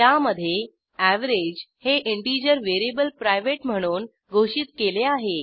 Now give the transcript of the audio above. त्यामधे एवीजी हे integer variable private म्हणून घोषित केले आहे